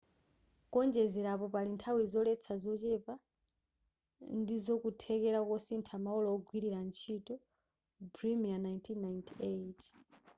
kuonjezerapo pali nthawi zoletsa zochepa ndizokuthekera kosintha maola ogwirira ntchito bremer 1998